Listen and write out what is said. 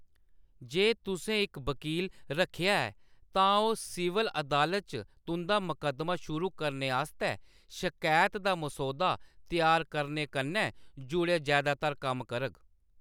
जे तुसें इक वक़ील रक्खेआ ऐ, तां ओह्‌‌ सिविल अदालत च तुंʼदा मकद्दमा शुरू करने आस्तै शकैत दा मसौदा त्यार करने कन्नै जुड़े जैदातर कम्म करग।